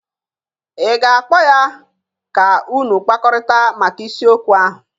Ị ga-akpọ ya ka unu kpakọrịta maka isiokwu ahụ?